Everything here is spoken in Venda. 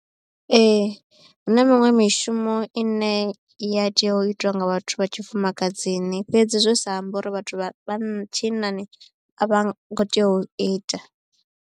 Ee huna miṅwe mishumo ine i ya tea u itiwa nga vhathu vha tshifumakadzini fhedzi zwi sa ambi uri vhathu vha tshinnani a vha ngo tea u ita.